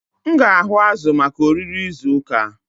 M ga-ahụ azụ̀ maka oriri izu ụka.